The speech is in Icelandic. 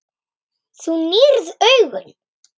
Þú nýrð augun.